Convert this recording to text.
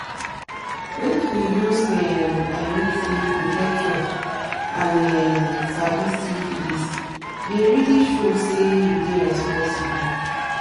make you use um i mean say protection and um sabi syphilis deyit really show say you dey responsible